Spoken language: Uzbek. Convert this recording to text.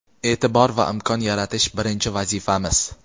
e’tibor va imkon yaratish — birinchi vazifamiz!.